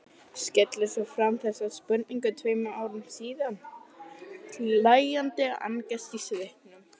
Skellir svo fram þessari spurningu tveim árum síðar, hlæjandi angist í svipnum.